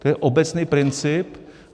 To je obecný princip.